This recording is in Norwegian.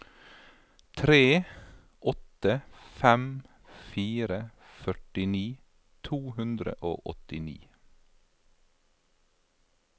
tre åtte fem fire førtini to hundre og åttini